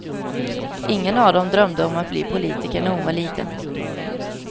Ingen av dem drömde om att bli politiker när hon var liten.